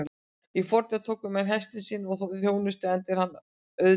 Í fornöld tóku menn hestinn í sína þjónustu enda er hann auðtaminn.